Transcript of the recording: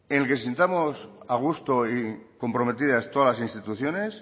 el que nos sintamos a gusto y comprometidas todas las instituciones